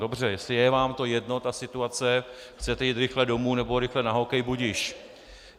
Dobře, jestli je vám to jedno, ta situace, chcete jít rychle domů nebo rychle na hokej, budiž.